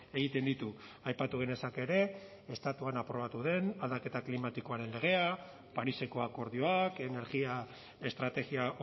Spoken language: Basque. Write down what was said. egiten ditu aipatu genezake ere estatuan aprobatu den aldaketa klimatikoaren legea pariseko akordioak energia estrategia